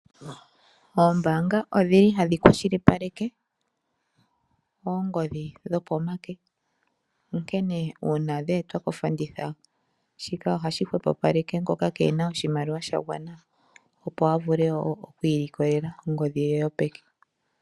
Oombaanga odhili hadhi kwa shilipaleke oongodhi dhopeke onkene uuna dheetwa kofanditha shika ohashi hwepo paleke ngoka keena oshimaliwa shagwana opo avule woo oku ilikolela ongodhi yoye yopeke.